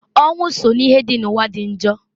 Ọnwụ so n'ihe dị n'ụwa dị njọ.